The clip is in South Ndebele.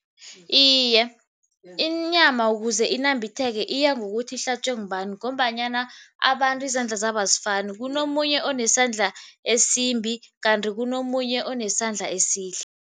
Iye, inyama ukuze inambitheke iyangokuthi ihlatjwe ngubani ngombanyana abantu izandla zabo azifani, kunomunye onesandla esimbi kanti kunomunye onesandla esihle.